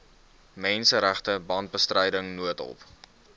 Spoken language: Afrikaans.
menseregte brandbestryding noodhulp